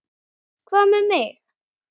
Hvað með mig?